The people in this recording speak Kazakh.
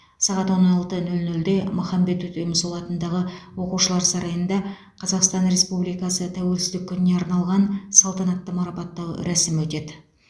сағат он алты нөл нөлде махамбет өтемісұлы атындағы оқушылар сарайында қазақстан республикасы тәуелсіздік күніне арналған салтанатты марапаттау рәсімі өтеді